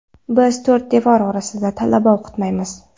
Biz to‘rt devor orasida talaba o‘qitmaymiz”.